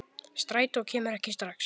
Strætó kemur ekki strax.